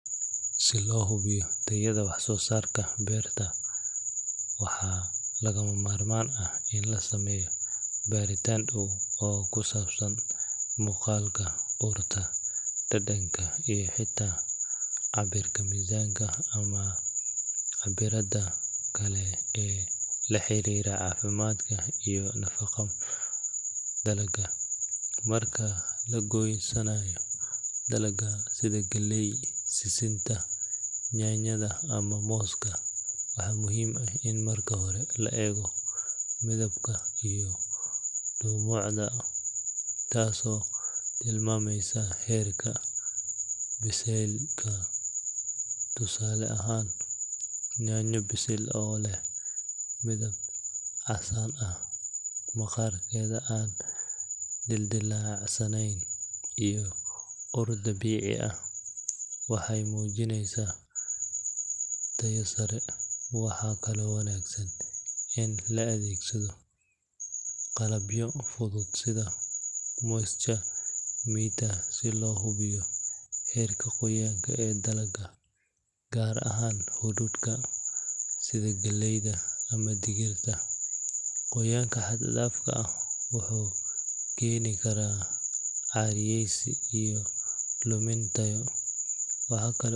Si loo hubiyo tayada wax-soo-saarka beerta, waxaa lagama maarmaan ah in la sameeyo baaritaan dhow oo ku saabsan muuqaalka, urta, dhadhanka iyo xitaa cabbirka miisaanka ama cabbirrada kale ee la xiriira caafimaadka iyo nadiifnimada dalagga. Marka la goosanayo dalagga sida galleyda, sisinta, yaanyada ama mooska, waxaa muhiim ah in marka hore la eego midabka iyo dhumucda, taasoo tilmaamaysa heerka bisaylka. Tusaale ahaan, yaanyo bisil oo leh midab casaan ah, maqaarkeeda aan dildillaacsaneyn iyo ur dabiici ah waxay muujinaysaa tayo sare. Waxaa kaloo wanaagsan in la adeegsado qalabyo fudud sida moisture meter si loo hubiyo heerka qoyaan ee dalagga, gaar ahaan hadhuudhka sida galleyda ama digirta. Qoyaanka xad-dhaafka ah wuxuu keeni karaa caariyaysi iyo lumin tayo. Waxa kale.